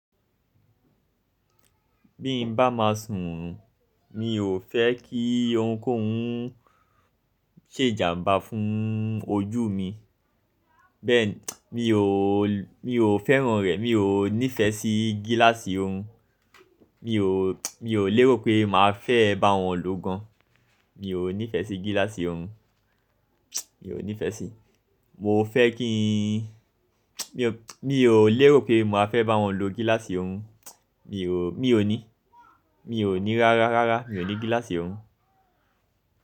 Bí n bá máa sùn, mi ò fẹ́ kí ohunkóhun ṣèjàmba fún ojú mi. Bẹ́ẹ̀ni mi ò, mi ò fẹ́ràn rẹ̀, mi ò nífẹsí gíláàsì ohun. Mi ò, mi ò lérò pé màá fẹ́ bá wọn lò gan. Mi ò nífẹsí gíláàsì orun, mi ò nífẹsí. Mo fẹ́ kí n Mi ò, mi ò lérò pé màá fẹ́ bá wọn lo gíláàsì ohun mon Mi ò, mi ò ní, mi ò ní rárá, rárá mi ò ní gíláàsì ohun.